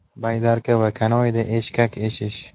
Baydarka va kanoeda eshkak eshish.